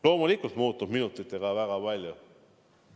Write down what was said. Loomulikult muutub minutitega väga palju.